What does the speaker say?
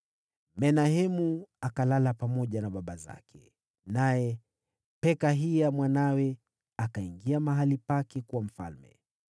Menahemu akalala pamoja na baba zake. Naye Pekahia mwanawe akawa mfalme baada yake.